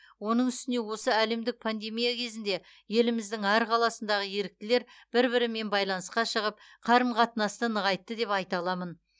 оның үстіне осы әлемдік пандемия кезінде еліміздің әр қаласындағы еріктілер бір бірімен байланысқа шығып қарым қатынасты нығайтты деп айта аламын